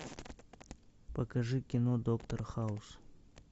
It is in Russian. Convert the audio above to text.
покажи кино доктор хаус